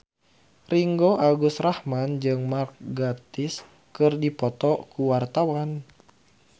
Ringgo Agus Rahman jeung Mark Gatiss keur dipoto ku wartawan